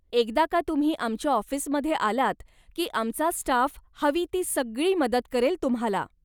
एकदा का तुम्ही आमच्या ऑफिसमध्ये आलात की आमचा स्टाफ हवी ती सगळी मदत करेल तुम्हाला.